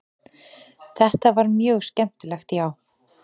Þetta var mjög skemmtilegt já.